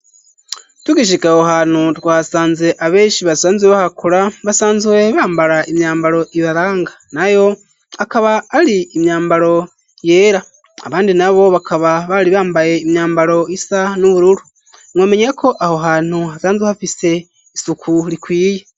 Tugishika aho hantu twasanze abenshi basanzwe bahakora basanzwe bambara imyambaro ibaranga ,nayo akaba ari imyambaro yera abandi na bo bakaba bari bambaye imyambaro isa n'ubururu mwomenyako aho hantu hasanzwe hafise isuku rikwiye.